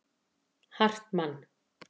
Hartmann